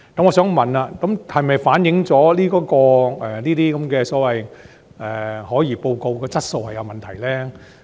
我想問，這是否反映此等所謂的可疑交易報告質素有問題？